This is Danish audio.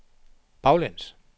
baglæns